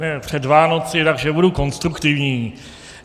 Je před Vánoci, takže budu konstruktivní.